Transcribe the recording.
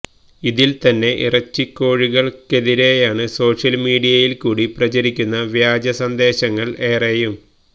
ഇതിൽത്തന്നെ ഇറച്ചിക്കോഴികൾക്കെതിരെയാണ് സോഷ്യൽ മീഡിയയിൽക്കൂടി പ്രചരിക്കുന്ന വ്യാജ സന്ദേശങ്ങൾ ഏറെയും